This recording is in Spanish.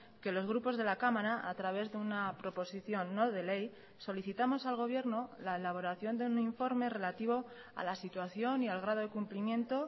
que los grupos de la cámara a través de una proposición no de ley solicitamos al gobierno la elaboración de un informe relativo a la situación y al grado de cumplimiento